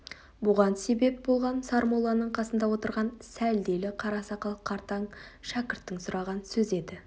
бұған себеп болған сармолланың қасында отырған сәлделі қара сақал қартаң шәкірттің сұраған сөзі еді